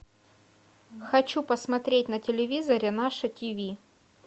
хочу посмотреть на телевизоре наше ти ви